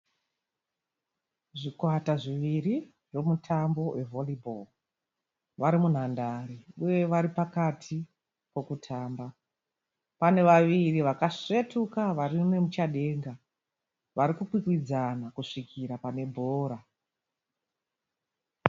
Zvikwata zviviri zvemutambo we Vhori bhoro. Wari munhandare uye vari pakati pokutamba. Pane vaviri vakaswetuka vari nemuchadenga vari kukwikwidzana kusvika pane bhora.